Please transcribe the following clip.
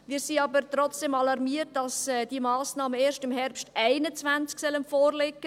Wir sind aber trotzdem alarmiert, dass diese Massnahmen erst im Herbst 2021 vorliegen sollen.